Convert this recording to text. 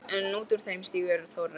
En út úr þeim stígur Þórarinn.